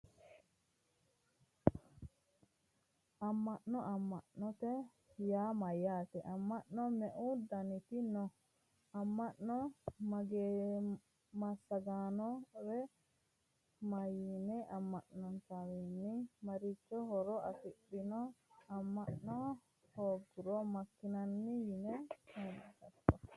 Amma'no amma'note yaa mayyaate amma'no me"u daniti no amma'no massaggannore mayinna amma'notewiinni marichi horo afi'nanni amma'na hoongiro makkinanni yite hedatto